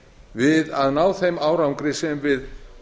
við að ná þeim árangri sem við